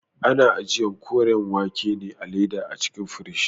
Ana ajiyan Koriyar wake ne a leda a cikin firigi